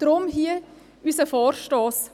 Deshalb hier unser Vorstoss.